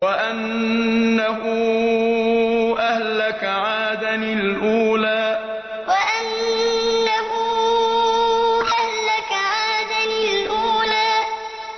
وَأَنَّهُ أَهْلَكَ عَادًا الْأُولَىٰ وَأَنَّهُ أَهْلَكَ عَادًا الْأُولَىٰ